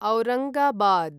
Aurangabad